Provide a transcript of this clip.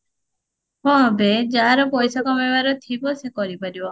ହଁ ବେ ଯାହାର ପଇସା କମେଇବାର ଥିବା ସେ କରିପାରିବ